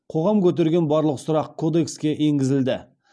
қоғам көтерген барлық сұрақ кодекске енгізілді